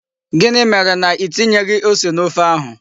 Gịnị mere na Ị tinyeghị ose n'ofe ahụ?